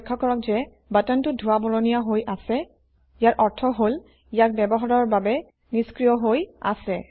লক্ষ্য কৰক যে বাটনটো ধোঁৱা বৰণীয়া হৈ আছে ইয়াৰ অৰ্থ হল ইয়াক ব্যৱহাৰৰ বাবে নিষ্ক্ৰিয় হৈ আছে